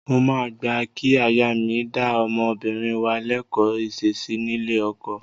Mo máa gbà kí aya mi dá ọmọbìnrin wa lẹ́kọ̀ọ́ ìṣesí nílé ọkọ.